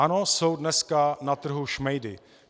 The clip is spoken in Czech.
Ano, jsou dneska na trhu šmejdy.